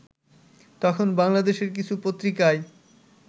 তখন বাংলাদেশের কিছু পত্রিকায়